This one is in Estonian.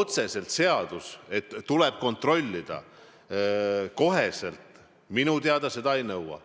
otseselt seadus seda, et tuleb kontrollida otsekohe, minu teada ei nõua.